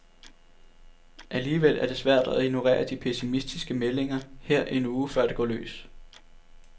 Alligevel er det svært at ignorere de pessimistiske meldinger her en uge, før det går løs.